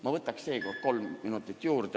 Ma võtan seekord kolm minutit juurde.